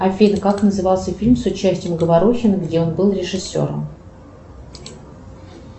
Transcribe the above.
афина как назывался фильм с участием говорухина где он был режиссером